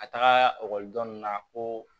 A taga ekɔlidenw na ko